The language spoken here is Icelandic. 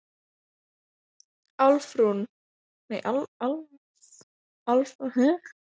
Álfrún, hvað er lengi opið í Blómabúð Akureyrar?